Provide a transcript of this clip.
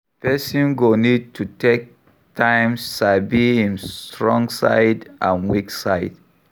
Person go need to take time sabi im strong side and weak side